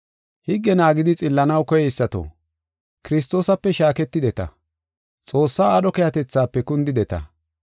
Higge naagidi xillanaw koyeysato, Kiristoosape shaaketideta; Xoossaa aadho keehatethaafe kundideta.